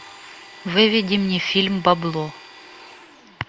выведи мне фильм бабло